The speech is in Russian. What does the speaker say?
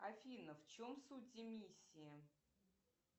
афина в чем суть эмиссии